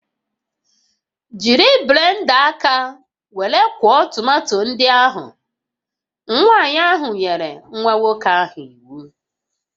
Jiri blenda aka were kwọọ tomato ndị ahụ! Nwanyị ahụ nyere nwa nwoke ahụ iwu